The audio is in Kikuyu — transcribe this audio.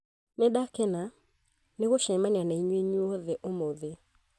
Nĩ ndakena nĩ gũcemania na inyuĩ inyuothe ũmũthĩ